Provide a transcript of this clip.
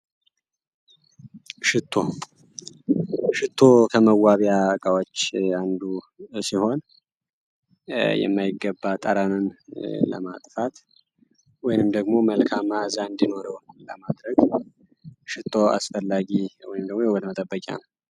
ሽቶ ሽቶ ከመዋቢያ እቃዎች አንዱ ሲሆን የማይገባ ጠረንን ለማጥፋት ወይም ደግሞ መልካም መአዛ እንዲኖረው ለማድረግ ሽቶ አስፈላጊ ወይም ደግሞ የውበት መጠበቂያ ነው።